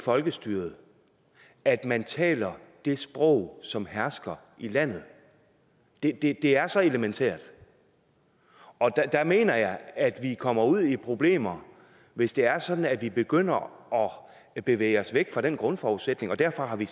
folkestyret at man taler det sprog som hersker i landet det det er så elementært og der mener jeg at vi kommer ud i problemer hvis det er sådan at vi begynder at bevæge os væk fra den grundforudsætning og derfor har vi